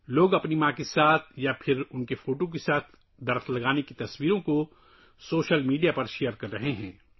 لوگ اپنی ماں کے ساتھ درخت لگانے کی تصاویر یا اس کی تصویر کے ساتھ سوشل میڈیا پر شیئر کر رہے ہیں